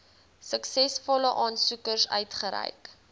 suksesvolle aansoekers uitgereik